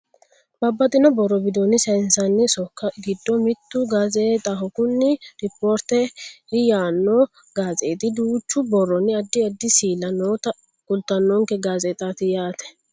Babbaxxino borro widoonni sayiinsanni sokko giddo mittu gaazeexaho kunino rippoorteri yaanno gazeexi duuchu borronna addi addi siilla noota kultannonke gazeexaati yaate